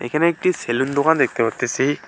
এখানে একটি সেলুন দোকান দেখতে পারতেসি।